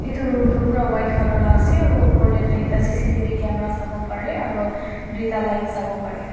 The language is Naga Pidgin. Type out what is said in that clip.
etu room tu bura white color la ase aro upor de tu ekta c c t v camera sabo parae aro tuita lights sabo parae.